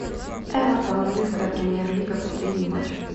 эвертон английская премьер лига последний матч